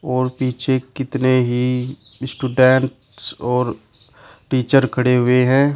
और पीछे कितने ही स्टूडेंट्स और टीचर खड़े हुए हैं।